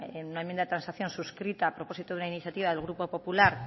en una enmienda de transacción suscrita a propósito de una iniciativa del grupo popular